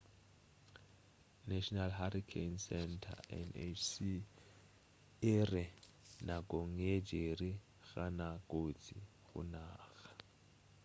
national hurricane center nhc e re nakong ye jerry ga na kotsi go naga